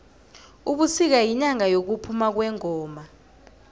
ubusika yinyanga yokuphama kwengoma